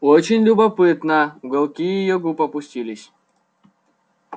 очень любопытно уголки её губ опустились